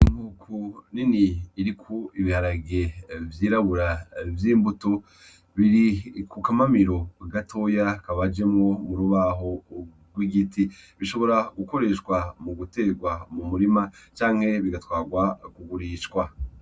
Inkoko nini iriko ibiharage vyirabura vy'inkutu, biri ku kamamiro gatoya kabajemwo mu rubaho rw'igiti, bishobora gukoreshwa mu guterwa mu murima canke bigatwarwa kugurishwa.